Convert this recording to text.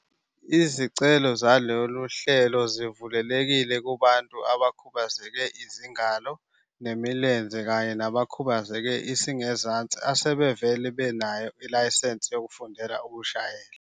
Izicelo zalolu hlelo zivulelekile kubantu abakhubazeke izingalo nemilenze kanye nabakhubazeke isingezansi asebevele benayo ilayisensi yokufundela ukushayela.